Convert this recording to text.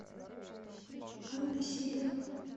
анна сидорова